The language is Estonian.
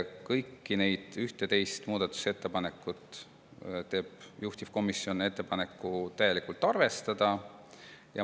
Kõiki neid 11 muudatusettepanekut teeb juhtivkomisjon ettepaneku täielikult arvestada.